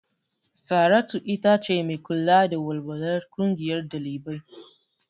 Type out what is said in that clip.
Saratu itace mai kula da walwalar ƙungiyar ɗalibai.